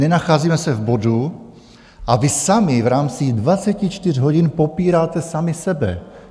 Nenacházíme se v bodu a vy sami v rámci 24 hodin popíráte sami sebe.